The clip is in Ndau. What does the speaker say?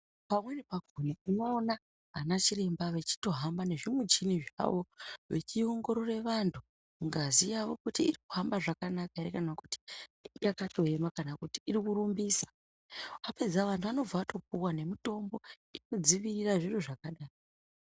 Pamweni pakona unoona anachiremba vechitohamba nezvimichini zvawo vechiongorora vanhu ngazi yavo kuti iri kuhamba zvakanaka here kana kuti yakatooma kana kuti irikurumbisa, vapedza vanhu vanobva vatopiwa nemitombo inodzivirira zviro zvakadai.